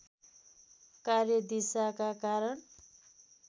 कार्यदिशाका कारण